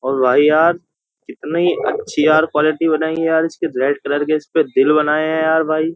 और भाई यार कितनी अच्छी यार क्वालिटी बनाई है यार। इसके रेड कलर के दिल बनाये हैं यार भाई।